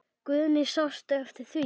Guðný: Sástu eftir því?